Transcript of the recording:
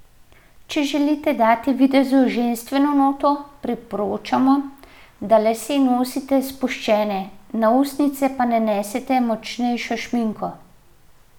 Če želite dati videzu ženstveno noto, priporočamo, da lase nosite spuščene, na ustnice pa nanesete močnejšo šminko.